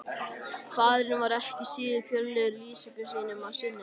Faðirinn var ekki síður fjörlegur í lýsingum sínum á syninum.